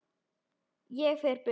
Ég fer burt.